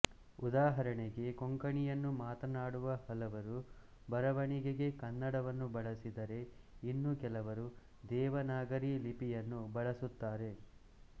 ಉದಾಹರಣೆಗೆ ಕೊಂಕಣಿಯನ್ನು ಮಾತನಾಡುವ ಹಲವರು ಬರವಣಿಗೆಗೆ ಕನ್ನಡವನ್ನು ಬಳಸಿದರೆ ಇನ್ನು ಕೆಲವರು ದೇವನಾಗರಿ ಲಿಪಿಯನ್ನು ಬಳಸುತ್ತಾರೆ